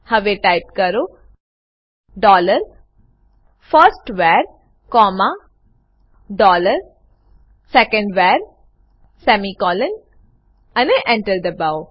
હવે ટાઈપ કરો dollar first var comma dollar second var semicolon અને Enter દબાઓ